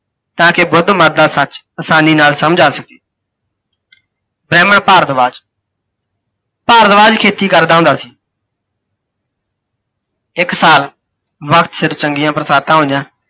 ਤਾਂ ਕਿ ਬੁੱਧਮਤ ਦਾ ਸੱਚ ਆਸਾਨੀ ਨਾਲ ਸਮਝ ਆ ਸਕੇ। ਬ੍ਰਹਮਣ ਭਾਰਦਵਾਜ, ਭਾਰਦਵਾਜ ਖੇਤੀ ਕਰਦਾ ਹੁੰਦਾ ਸੀ। ਇੱਕ ਸਾਲ ਚ ਚੰਗੀਆਂ ਬਰਸਾਤਾਂ ਹੋਈਆਂ,